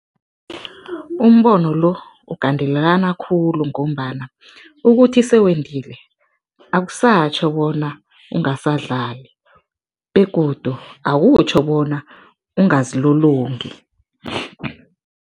Umbono lo ugandelelana khulu ngombana ukuthi sewendile akusatjho bona ungasadlali begodu akutjho bona ungazilololongi.